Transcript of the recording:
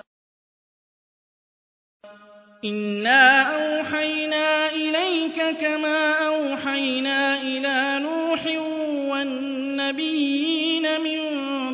۞ إِنَّا أَوْحَيْنَا إِلَيْكَ كَمَا أَوْحَيْنَا إِلَىٰ نُوحٍ وَالنَّبِيِّينَ مِن